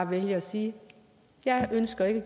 vælge at sige jeg ønsker ikke